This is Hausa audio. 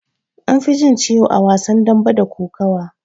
Anfi jin ciwo a wasan dambe da kokawa.